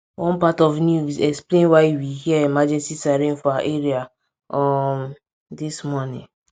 one part of news explain why we hear emergency siren for our area um dis morning